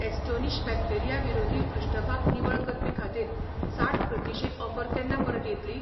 Astonish bacteria विरोधी पृष्ठभाग निवळ करपी खातीर साठ प्रतिशें ऑफर केन्ना परत येतली?